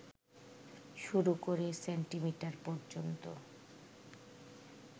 শুরু করে সেন্টিমিটার পর্যন্ত